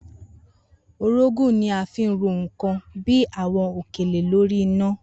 Orógùn ni a fi ń ro nǹkan bí i àwo̩n òkèlè lórí iná